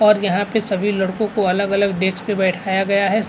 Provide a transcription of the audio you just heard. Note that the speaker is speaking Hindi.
और यहाँ पे सभी लड़कों को अलग-अलग डेक्स पे बैठाया गया है स --